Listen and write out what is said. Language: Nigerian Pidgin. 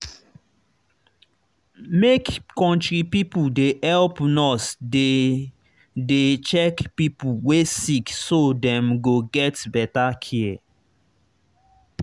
make country pipo dey help nurse dey dey check pipo wey sick so dem go get better care